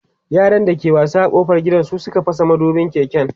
yaran da ke wasa ƙofar gida Suka fasa madubin keken